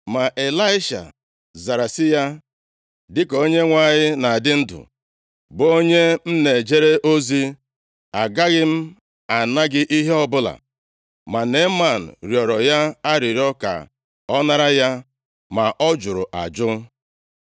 Ma Ịlaisha zara sị ya, “Dịka Onyenwe anyị na-adị ndụ, bụ onye m na-ejere ozi, agaghị m ana gị ihe ọbụla.” Ma Neeman rịọrọ ya arịrịọ ka ọ nara ya, ma ọ jụrụ ajụ.